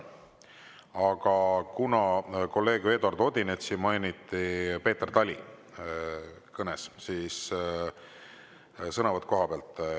Aga kuna kolleeg Eduard Odinetsi mainiti Peeter Tali kõnes, siis sõnavõtt kohapealt.